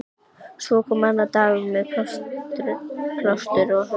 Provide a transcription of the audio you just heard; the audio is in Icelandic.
Svo kom annar dagur- með plástur á höfði.